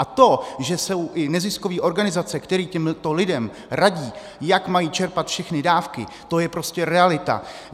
A to, že jsou i neziskové organizace, které těmto lidem radí, jak mají čerpat všechny dávky, to je prostě realita.